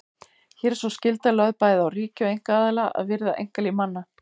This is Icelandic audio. Hér er sú skylda lögð bæði á ríki og einkaaðila að virða einkalíf manna.